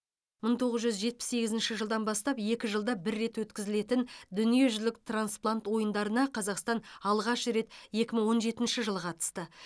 мың тоғыз жүз жетпіс сегізінші жылдан бастап екі жылда бір рет өткізілетін дүниежүзілік трансплант ойындарына қазақстан алғаш рет екі мың он жетінші жылы қатысты